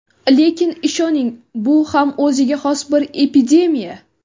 Lekin ishoning bu ham o‘ziga xos bir epidemiya.